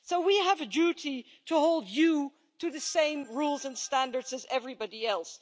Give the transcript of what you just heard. So we have a duty to hold you to the same rules and standards as everybody else.